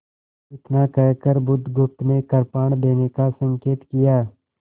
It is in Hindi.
इतना कहकर बुधगुप्त ने कृपाण देने का संकेत किया